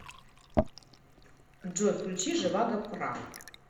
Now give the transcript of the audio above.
джой включи живаго пра